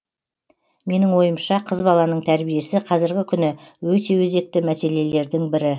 менің ойымша қыз баланың тәрбиесі қазіргі күні өте өзекті мәселелердің бірі